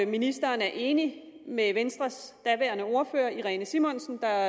ministeren er enig med venstres daværende ordfører fru irene simonsen der